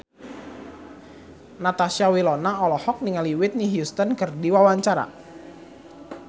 Natasha Wilona olohok ningali Whitney Houston keur diwawancara